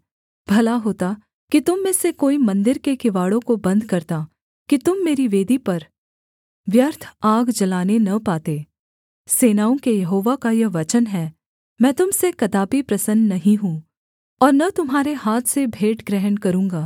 भला होता कि तुम में से कोई मन्दिर के किवाड़ों को बन्द करता कि तुम मेरी वेदी पर व्यर्थ आग जलाने न पाते सेनाओं के यहोवा का यह वचन है मैं तुम से कदापि प्रसन्न नहीं हूँ और न तुम्हारे हाथ से भेंट ग्रहण करूँगा